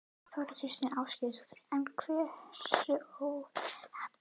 Þóra Kristín Ásgeirsdóttir: En hversu óheppileg?